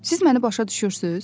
Siz məni başa düşürsüz?